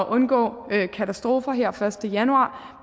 undgå katastrofer her den første januar